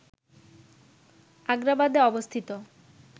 আগ্রাবাদে অবস্থিত